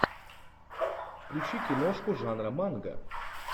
включи киношку жанра манго